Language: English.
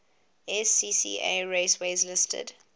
scca raceways listed